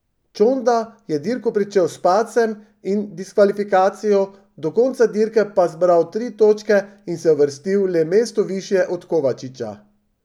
Čonda je dirko pričel s padcem in diskvalifikacijo, do konca dirke pa zbral tri točke in se uvrstil le mesto višje od Kovačiča.